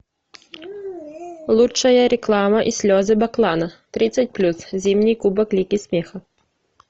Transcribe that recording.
лучшая реклама и слезы баклана тридцать плюс зимний кубок лиги смеха